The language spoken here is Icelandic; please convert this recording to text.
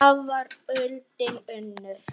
Þá var öldin önnur.